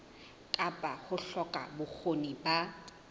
kapa ho hloka bokgoni ba